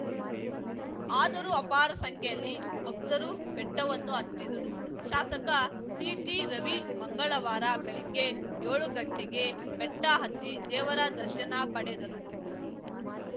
ಆದರೂ ಅಪಾರ ಸಂಖ್ಯೆಯಲ್ಲಿ ಭಕ್ತರು ಬೆಟ್ಟವನ್ನು ಹತ್ತಿದರು ಶಾಸಕ ಸಿಟಿ ರವಿ ಮಂಗಳವಾರ ಬೆಳಗ್ಗೆ ಯೋಳು ಗಂಟೆಗೆ ಬೆಟ್ಟಹತ್ತಿ ದೇವರ ದರ್ಶನ ಪಡೆದರು